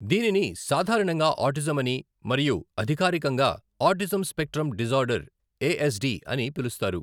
దీనిని సాధారణంగా ఆటిజం అని మరియు అధికారికంగా autism spectrum disorder, A S D అని పిలుస్తారు.